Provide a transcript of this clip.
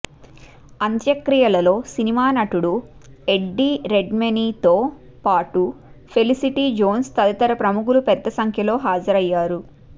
అంత్యక్రియలలో cinema నటుడు Eddie రెడ్మెనీతో పాటు ఫెలిసిటి జోన్స్ తదితర ప్రముఖులు పెద్ద సంఖ్యలో హాజరయ్యారు